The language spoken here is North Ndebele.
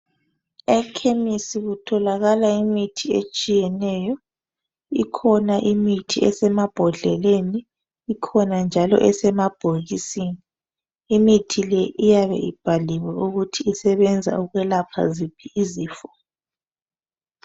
Ekhemisi kutholakala imithi etshiyeneyo. Ikhona imithi esmabhodleleni. Ikhona njalo esemabhokisini. mithi le iyabe ibhaliwe ukuthi isebenza ukwelapha ziphi izifo.